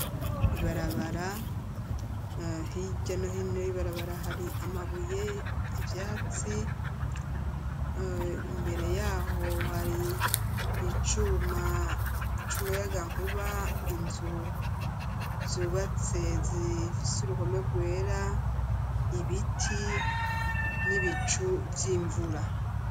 Ibarabara h'iryanohino yibarabara hari amabuye ivyatsi imbere yaho hari icuma c'uma y'agankuba inzu zubatse ziifise uruhome rwera ibiti n'ibicu vy'imvura.